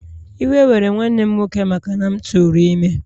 Iwe were nwanne m nwoke maka na m tụrụ ime